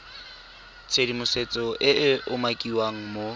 tshedimosetso e e umakiwang mo